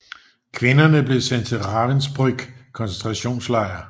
Kvinderne blev sendt til Ravensbrück koncentrationslejr